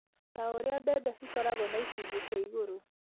ta ũrĩa mbembe cikoragwo na icunjĩ cia igũrũ